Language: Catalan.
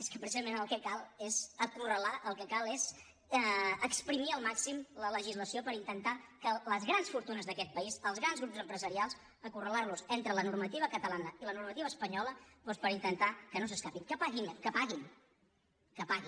és que precisament el que cal és acorralar el que cal és esprémer al màxim la legislació per intentar que les grans fortunes d’aquest país els grans grups empresarials acorralar los entre la normativa catalana i la normativa espanyola doncs per intentar que no s’escapin que paguin que paguin que paguin perquè evidentment paguen poquíssim